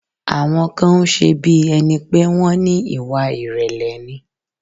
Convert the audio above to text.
Àwọn kan ń ṣe bí ẹni pé wón ní Ìwà ìrèlè ni.